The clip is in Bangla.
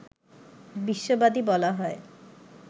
বিশ্ববাদী বলা হয়